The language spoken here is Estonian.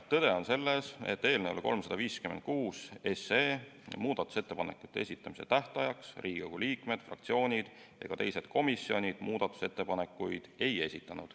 Tõde on see, et eelnõu 356 kohta muudatusettepanekute esitamise tähtajaks Riigikogu liikmed, fraktsioonid ega teised komisjonid muudatusettepanekuid ei esitanud.